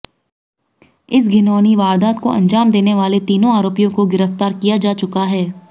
इस घिनौनी वारदात को अंजाम देने वाले तीनों आरोपियों को गिरफ्तार किया जा चुका है